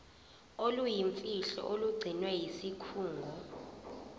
oluyimfihlo olugcinwe yisikhungo